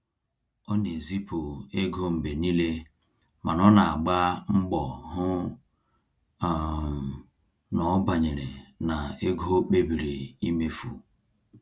Ọ na-ezipụ ego mgbe niile mana ọ na agba mgbọ hụ um na ọ banyere na ego o kpebiri imefu